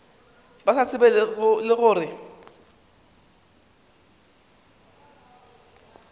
ba sa tsebego le gore